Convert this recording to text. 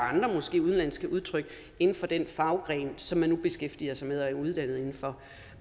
måske andre udenlandske udtryk inden for det fag som man nu beskæftiger sig med og er uddannet inden for